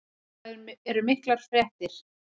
Og það eru miklar fréttir.